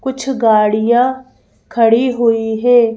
कुछ गाड़ियां खड़ी हुई है।